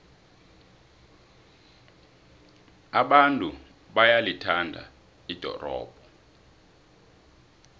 abantu bayalithanda ldorobho